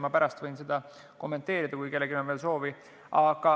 Ma võin pärast seda kommenteerida, kui kellelgi on soovi.